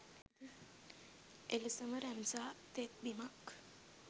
එලෙසම රැම්සා තෙත්බිමක්